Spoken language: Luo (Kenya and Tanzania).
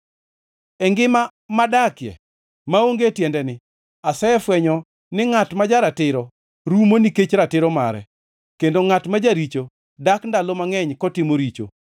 E ngima madakie maonge tiendeni asefwenyo ni ngʼat ma ja-ratiro rumo nikech ratiro mare kendo ngʼat ma jaricho dak ndalo mangʼeny kotimo richo.